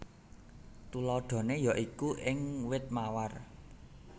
Tuladhané ya iku ing wit mawar